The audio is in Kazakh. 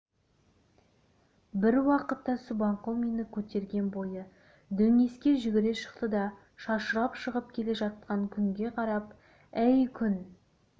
бір уақытта субанқұл мені көтерген бойы дөңеске жүгіре шықты да шашырап шығып келе жатқан күнге қарап әй күн